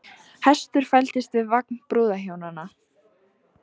Hestur fældist við vagn brúðhjónanna